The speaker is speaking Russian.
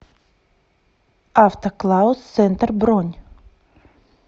автоклаус центр бронь